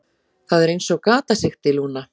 Það er einsog gatasigti, Lúna.